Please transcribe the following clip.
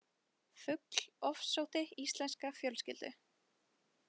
Fugl ofsótti íslenska fjölskyldu